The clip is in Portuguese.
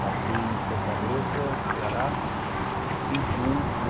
Nasci em Fortaleza, Ceará, em vinte e um de